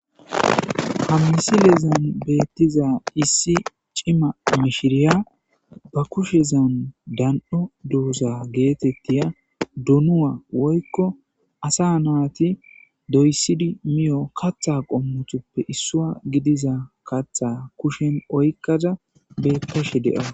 Ha misilen betizay issi c'ima mishiriya ba kushen dan'o dooza getetiza dono woyko asa nayti kathidi moto kaatha qommotuppe issuwa gidiza kaatha kushen oykada beetesha de'aws.